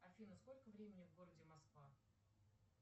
афина сколько времени в городе москва